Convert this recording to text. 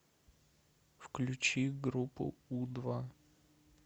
включи группу у два